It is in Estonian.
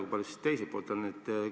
Kui palju on teise poole oma?